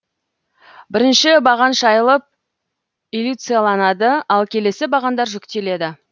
бірінші баған шайылып элюцияланады ал келесі бағандар жүктеледі